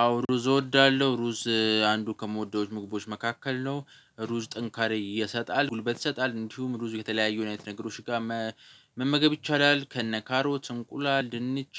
አዎ ሩዝ እወዳለሁ ሩዝ አንዱ ከምወደው ምግቦች መካከል ነው። ሩዝ ጥንካሬ ይሰጣል ጉልበት ይሰጣል እንዲሁም ሩዝ የተለያየ አይነት ነገሮች ጋር መመገብ ይቻላል። ከነ ካሮት እንቁላል ድንች